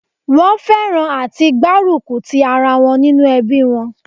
Wón fẹ́ràn àti gbárùkù tì ara wọn nínú ẹbí wọn